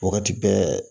Wagati bɛɛ